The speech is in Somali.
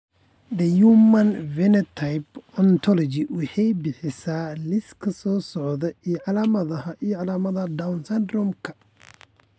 The Human Phenotype Ontology waxay bixisaa liiska soo socda ee calaamadaha iyo calaamadaha Down syndrome-ka.